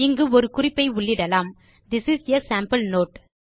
இங்கு ஒரு குறிப்பை உள்ளிடலாம் this is a sample note